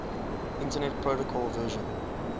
internet protocol version